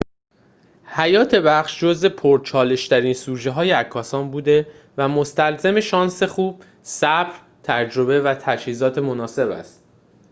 حیات وحش جزء پرچالش‌ترین سوژه‌های عکاسان بوده و مستلزم شانس خوب صبر تجربه و تجهیزات مناسب است